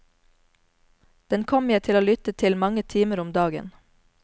Den kommer jeg til å lytte til mange timer om dagen.